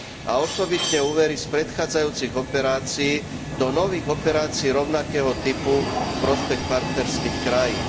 a osobitne úvery z predchádzajúcich operácií do nových operácií rovnakého typu v prospech partnerských krajín.